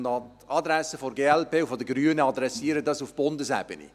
Und an die Adresse der glp und der Grünen: Adressieren Sie dies auf Bundesebene.